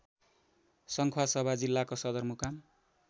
सङ्खुवासभा जिल्लाको सदरमुकाम